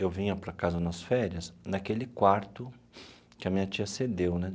eu vinha para casa nas férias, naquele quarto que a minha tia cedeu né.